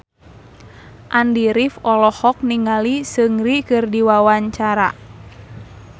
Andy rif olohok ningali Seungri keur diwawancara